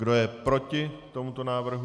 Kdo je proti tomuto návrhu?